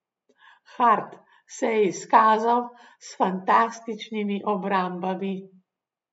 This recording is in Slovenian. Hart se je izkazal s fantastičnimi obrambami.